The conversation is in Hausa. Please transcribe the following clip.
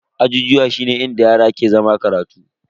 Ajijuwa shine inda yara ke zama karatu.